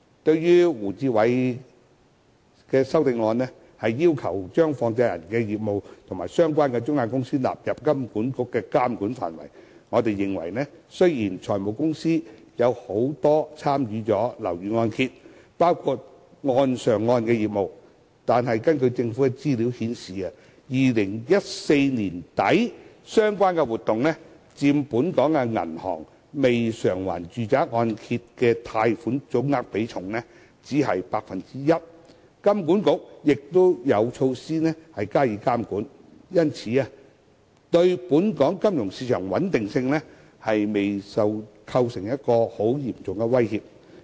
對於胡志偉議員的修正案，要求將放債人的業務及相關中介公司納入金管局的監管範圍，我們認為，雖然很多財務公司都有參與樓宇按揭，包括"按上按"業務，但根據政府資料顯示 ，2014 年年底相關活動佔本港銀行未償還住宅按揭貸款總額比重只是 1%， 金管局亦有措施加以監管，故對本港金融市場穩定未構成嚴重威脅。